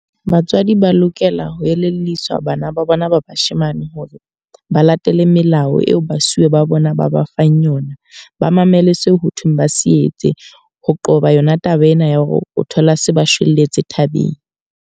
Batswadi ba lokela ho elelliswa bana ba bona ba bashemane hore ba latele melao eo basuwe ba bona ba ba fang yona. Ba mamele seo ho thweng ba se etse. Ho qoba yona taba ena ya hore o thola se ba shwelletse thabeng.